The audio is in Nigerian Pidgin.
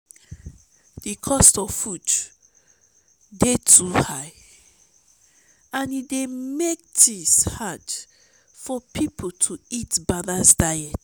di cost of food dey too high and e dey make things hard for people to eat balanced diet.